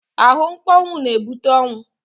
Ahụmkpọnwụ na-ebute ọnwụ.